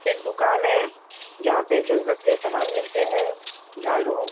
एक दुकान है जहाँ पे ज़रूरत के सामान मिलते हैं। झाड़ू --